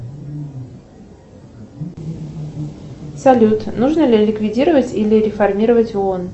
салют нужно ли ликвидировать или реформировать оон